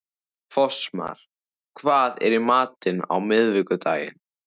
Fossmar, hvað er í matinn á miðvikudaginn?